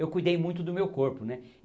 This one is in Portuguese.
Eu cuidei muito do meu corpo, né?